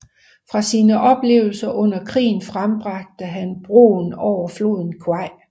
Fra sine oplevelser under krigen frembragte han Broen over floden Kwai